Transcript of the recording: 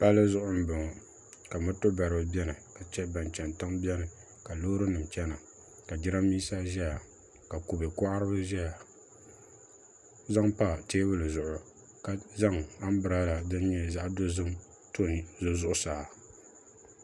Palli zuɣu n boŋo ka moto baribi biɛni ka chɛ ban chɛni tiŋ biɛni ka loori nim chɛna ka jiranbiisa ʒɛya ka kubɛ koharibi ʒɛya zaŋ pa teebuli zuɣu ka zaŋ anbireela din nyɛ zaɣ dozim to n yili zuɣusaa